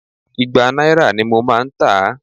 Ìgbà náírà ní mò ń tà á.